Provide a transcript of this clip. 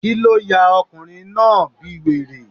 Kíló ya ọkùnrin náà bí wèrè?